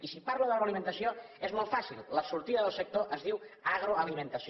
i si parlo d’agroalimentació és molt fàcil la sortida del sector es diu agroalimentació